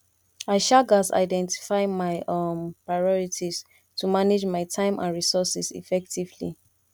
i um gats identify my um priorities to manage my time and resources effectively